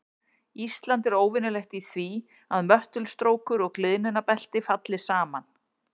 Ísland er óvenjulegt í því að möttulstrókur og gliðnunarbelti falli saman.